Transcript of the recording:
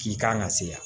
K'i kan ka se yan